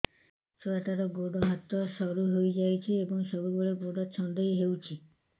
ଛୁଆଟାର ଗୋଡ଼ ହାତ ସରୁ ହୋଇଯାଇଛି ଏବଂ ସବୁବେଳେ ଗୋଡ଼ ଛଂଦେଇ ହେଉଛି